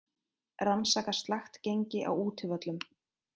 Rannsaka slakt gengi á útivöllum